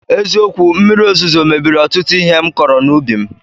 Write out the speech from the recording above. Eziokwu, mmiri ozuzo mebiri ọtụtụ ihe m kọrọ n'ubi m